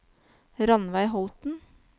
Ranveig Holten